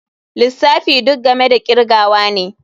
Lissafi duk game da kirgawa ne.